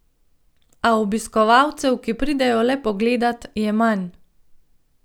A obiskovalcev, ki pridejo le pogledat, je manj.